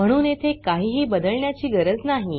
म्हणून इथे काहीही बदलण्याची गरज नाही